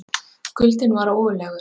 Kuldinn var ógurlegur.